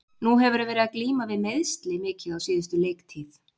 Nú hefurðu verið að glíma við meiðsli mikið á síðustu leiktíð.